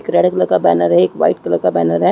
एक red colour का banner है एक वाइट कलर का बैनर है।